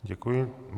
Děkuji.